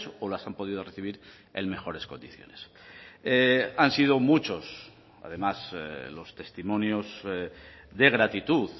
o las han podido recibir en mejores condiciones han sido muchos además los testimonios de gratitud